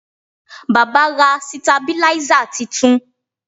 Baba ra sitabiláísà titun